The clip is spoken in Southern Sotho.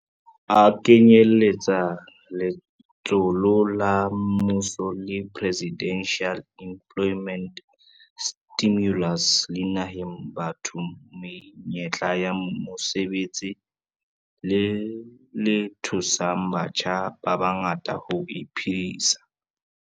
A kenyeletsa letsholo la mmuso la Presidential Employment Stimulus le nehang batho menyetla ya mosebetsi le le thusang batjha ba bangata ho iphedisa.